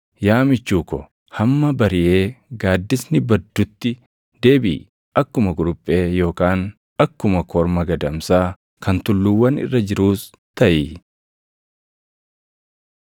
Yaa michuu ko, hamma bariʼee gaaddisni baddutti deebiʼi; akkuma kuruphee yookaan akkuma korma gadamsaa kan tulluuwwan irra jiruus taʼi.